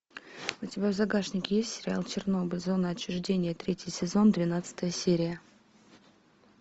у тебя в загашнике есть сериал чернобыль зона отчуждения третий сезон двенадцатая серия